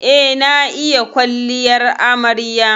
Eh, na iya yin kwalliyar amarya.